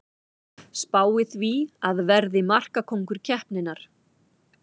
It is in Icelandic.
Spái því að verði markakóngur keppninnar!